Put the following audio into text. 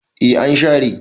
eh an share